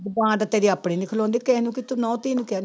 ਜੁਬਾਨ ਤਾਂ ਤੇਰੀ ਆਪਣੀ ਨੀ ਖਲੋਂਦੀ ਕਿਸੇ ਨੂੰ ਕੀ ਤੂੰ ਨਹੁੰ ਧੀ ਨੂੰ ਕਹਿਨੀ।